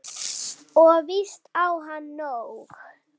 Og víst á hann nóg.